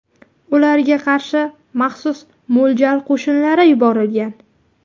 Ularga qarshi maxsus mo‘ljal qo‘shinlari yuborilgan.